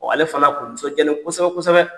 ale fana tun nisɔndiyalen kosɛbɛ-kosɛbɛ.